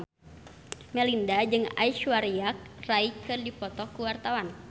Melinda jeung Aishwarya Rai keur dipoto ku wartawan